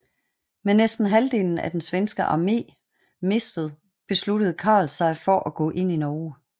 Med næsten halvdelen af den svenske armé mistet besluttede Karl sig for at gå ind i Norge